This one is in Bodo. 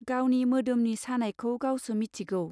गावनि मोदोमनि सानायखौ गावसो मिथिगौ.